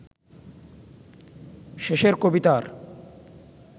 শেষের কবিতার